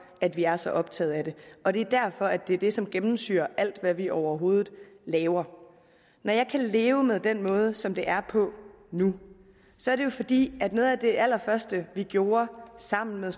at vi er så optaget af det og det er derfor at det er det som gennemsyrer alt hvad vi overhovedet laver når jeg kan leve med den måde som det er på nu er det jo fordi noget af det allerførste vi gjorde sammen med